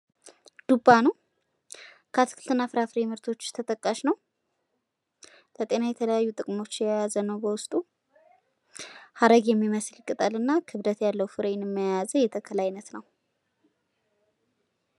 ዱባ ነው። ከአትክልትና ፍራፍሬዎች ውስጥ ተጠቃሽ ነው። ለጤና እና ለተለያዩ ጥቅሞች የያዘ ነው በውስጡ ሀረግ የሚመስል ቅጠል የያዘ የተክል አይነት ነው።